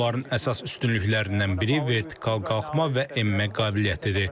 Onların əsas üstünlüklərindən biri vertikal qalxma və enmə qabiliyyətidir.